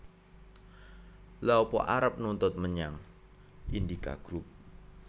Lha apa arep nuntut menyang Indika Group?